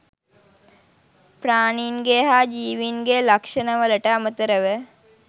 ප්‍රාණීන්ගේ හා ජීවීන්ගේ ලක්‍ෂණවලට අමතරව